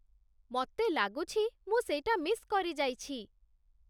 ମତେ ଲାଗୁଛି ମୁଁ ସେଇଟା ମିସ୍ କରିଯାଇଛି ।